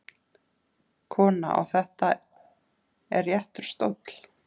Kona: Og þetta er réttur stóll?